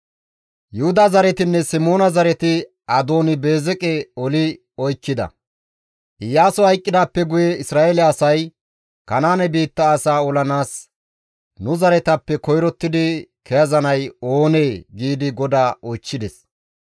Iyaasoy hayqqidaappe guye Isra7eele asay, «Kanaane biitta asaa olanaas nu zaretappe koyrottidi kezanay oonee?» giidi GODAA oychchides.